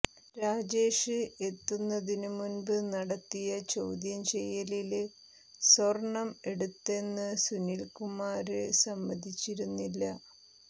രാജേഷ് എത്തുന്നതിനു മുന്പ് നടത്തിയ ചോദ്യം ചെയ്യലില് സ്വര്ണം എടുത്തെന്നു സുനില്കുമാര് സമ്മതിച്ചിരുന്നില്ല